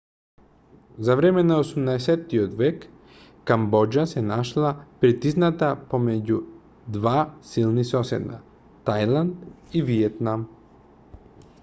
за време на 18-тиот век камбоџа се нашла притисната помеѓу два силни соседа тајланд и виетнам